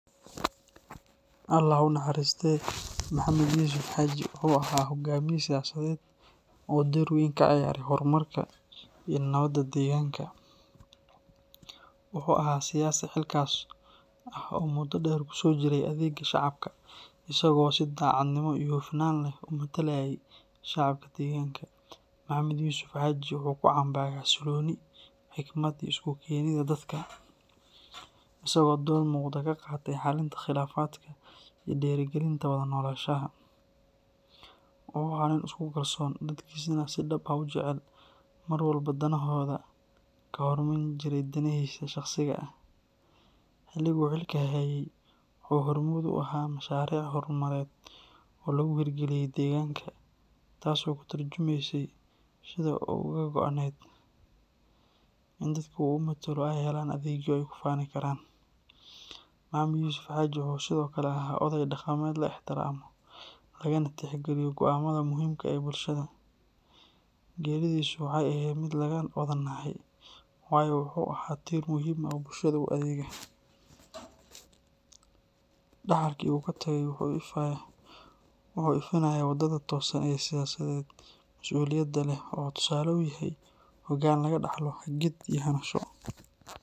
Alla ha u naxariistee Maxamed Yuusuf Xaaji wuxuu ahaa hoggaamiye siyaasadeed oo door weyn ka ciyaaray horumarka iyo nabadda deegaanka. Wuxuu ahaa siyaasi xilkas ah oo muddo dheer kusoo jiray adeegga shacabka, isagoo si daacadnimo iyo hufnaan leh u matalayey shacabka deegaanka. Maxamed Yuusuf Xaaji wuxuu ku caan baxay xasillooni, xikmad, iyo isu keenidda dadka, isagoo door muuqda ka qaatay xalinta khilaafaadka iyo dhiirrigelinta wada noolaanshaha. Wuxuu ahaa nin isku kalsoon, dadkiisana si dhab ah u jecel, mar walbana danahooda ka hormarin jiray danihiisa shakhsiga ah. Xilligii uu xilalka hayey wuxuu hormuud u ahaa mashaariic horumarineed oo laga hirgeliyey deegaanka, taas oo ka turjumaysay sida uu uga go’nayd in dadka uu matalo ay helaan adeegyo ay ku faani karaan. Maxamed Yuusuf Xaaji wuxuu sidoo kale ahaa oday dhaqameed la ixtiraamo, lagana tixgeliyo go’aamada muhiimka ah ee bulshada. Geeridiisu waxay ahayd mid laga wada naxay, waayo wuxuu ahaa tiir muhiim ah oo bulshada u adeega. Dhaxalkii uu ka tagay wuxuu ifinayaa waddada toosan ee siyaasadda mas'uuliyadda leh. Wuxuu tusaale u yahay hoggaan laga dhaxlo hagid iyo hanasho.